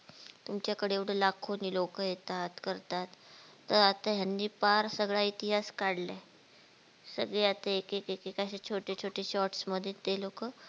तुमच्या कडे एवढे लाखोने लोक येतात करतात त आता यांनी पार सगळा इतिहास काढलाय सगळी आता एक एकअसे छोटे छोटे shorts मध्ये ते लो